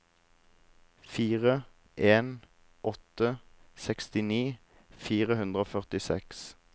fire en åtte åtte sekstini fire hundre og førtiseks